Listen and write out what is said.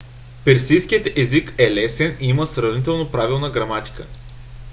персийският език е лесен и има сравнително правилна граматика